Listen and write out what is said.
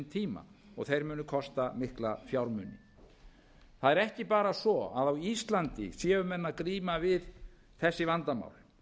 sinn tíma þeir munu kosta mikla fjármuni það er ekki bara svo að á íslandi séu menn að glíma við þessi vandamál